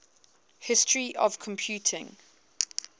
history of computing